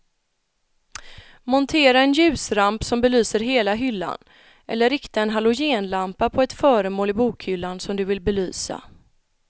Montera en ljusramp som belyser hela hyllan eller rikta en halogenlampa på ett föremål i bokhyllan som du vill belysa.